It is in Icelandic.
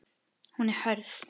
Hún er hörð.